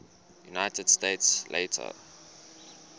united states later